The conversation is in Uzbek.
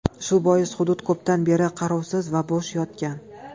Shu bois hudud ko‘pdan beri qarovsiz va bo‘sh yotgan.